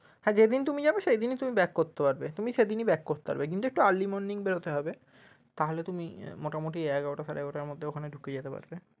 হ্যাঁ যেদিন তুমি যাবে সেইদিনই তুমি back করতে পারবে তুমি সেইদিনই back করতে পারবে কিন্তু একটু early morning বেরোতে হবে তাহলে তুমি মোটামুটি এগারোটা সাড়ে এগারোটার মধ্যে ওখানে ঢুকে যেতে পারবে।